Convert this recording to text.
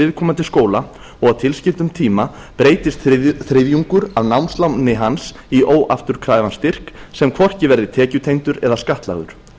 viðkomandi skóla og á tilskildum tíma breytist þriðjungur af námsláni hans í óafturkræfan styrk sem hvorki verði tekjutengdur eða skattlagður